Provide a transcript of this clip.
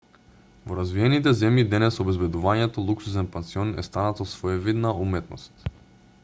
во развиените земји денес обезбедувањето луксузен пансион е станато своевидна уметност